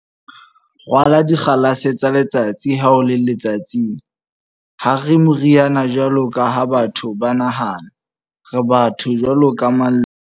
Rwala dikgalase tsa letsatsi ha o le letsatsing."Ha re moriana jwalo ka ha batho ba nahana. Re batho jwaloka mang le mang.